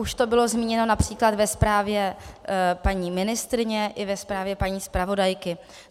Už to bylo zmíněno například ve zprávě paní ministryně i ve zprávě paní zpravodajky.